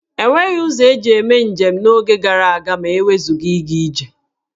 E nweghi ụzọ eji eme njem n'oge gara aga ma e wezụga ịga ije.